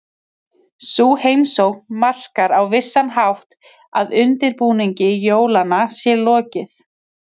Sú heimsókn markar á vissan hátt að undirbúningi jólanna sé lokið.